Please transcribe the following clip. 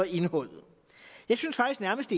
indholdet jeg synes faktisk nærmest